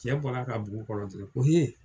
Cɛ bɔra ka bugu dɔrɔn ko hee !